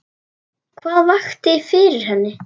Hvað vakti fyrir henni?